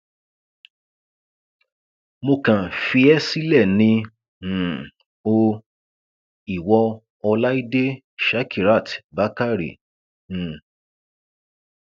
mo kàn fi ẹ sílẹ ni um o ìwo ọláìdé shakiratbakare um